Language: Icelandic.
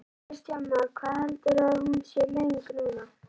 Kristján Már: Hvað heldurðu að hún sé löng núna?